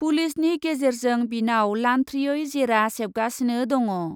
पुलिसनि गेजेरजों बिनाव लान्थ्रियै जेरा सेबगासिनो दङ।